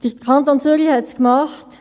Der Kanton Zürich hat es gemacht.